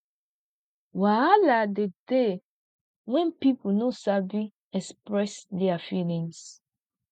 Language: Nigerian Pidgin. wahala de dey when pipo no sabi express their feelings